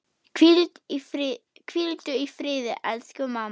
Hvíldu í friði, elsku mamma.